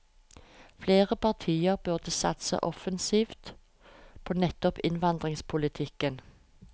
Flere partier burde satse offensivt på nettopp innvandringspolitikken.